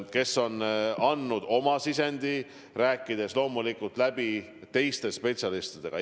Nemad on andnud oma sisendi, olles loomulikult läbi rääkinud teiste spetsialistidega.